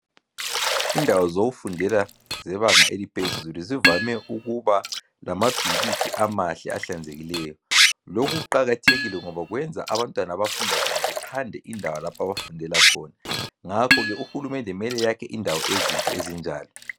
Indawo zokufundela zebanga eliphezulu kuvame ukuba lamabhilidi amahle ahlanzekileyo lokhu kuqakathekile ngoba kwenza abantwana abafunda khona bethande indawo lapha abafundela khona. Ngakho ke uhulumende kumele eyakhe indawo ezinhle ezinjalo.